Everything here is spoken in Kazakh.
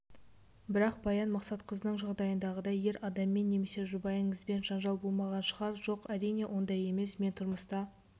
бірақ баян мақсатқызының жағдайындағыдай ер адаммен немесе жұбайыңызбен жанжалболмаған шығар жоқ әрине ондай емес мен тұрмыста